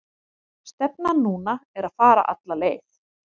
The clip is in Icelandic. Stefnan núna er að fara alla leið.